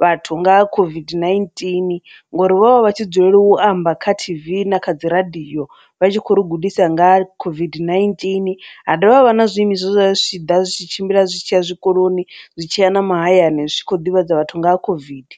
vhathu nga COVID-19 ngori vho vha vha tshi dzulela u amba kha T_V na kha dziradio vha tshi khou ri gudisa nga COVID-19, ha dovha havha na zwiimiswa zwe zwa zwi tshi ḓa zwi tshi tshimbila zwi tshia zwikoloni zwi tshiya na mahayani zwikho ḓivhadza vhathu nga ha COVID.